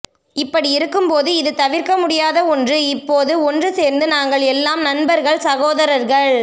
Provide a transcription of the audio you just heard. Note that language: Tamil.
இப்படி இருக்கும் போது இது தவிற்க்க முடியாத ஒன்று இப்போது ஒன்று சேர்ந்து நாங்கள் எல்லாம் நண்பர்கள் சகோதரர்கள்